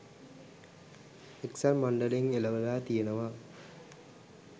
එක්සත් මණ්ඩලයෙන් එළවලා තියෙනවා.